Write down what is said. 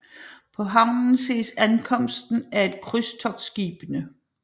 På havnen ses ankomsten af et af kystskibene